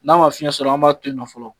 N'a ma fiɲɛ sɔrɔ an b'a to yen nɔ fɔlɔ.